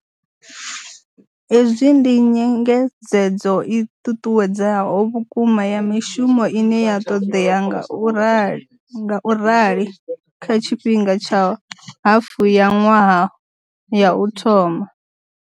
Hezwi ndi nyengedzedzo i ṱuṱuwedzaho vhukuma ya mishumo ine ya ṱoḓea ngaurali kha tshifhinga tsha hafu ya ṅwaha ya u thoma.